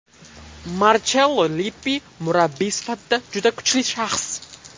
Marchello Lippi murabbiy sifatida juda kuchli shaxs.